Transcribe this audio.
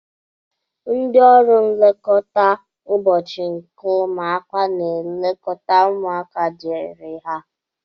Ndị ọrụ nlekọta ụbọchị nke ụmụaka n'elekọta ụmụaka diri ha.